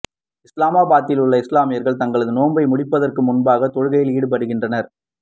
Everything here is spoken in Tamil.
இஸ்லாமாபாத்தில் உள்ள இஸ்லாமியர்கள் தங்களது நோன்பை முடிப்பதற்கு முன்பாக தொழுகையில் ஈடுபடுகின்றனர்